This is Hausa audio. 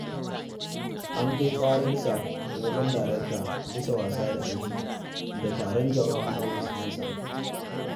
An kai ƙararsa wajen darakta bisa wasa da aiki da taron jama'a a ofis.